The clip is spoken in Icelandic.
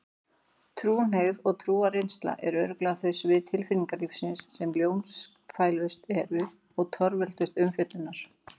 Trúhneigð og trúarreynsla eru örugglega þau svið tilfinningalífsins sem ljósfælnust eru og torveldust umfjöllunar.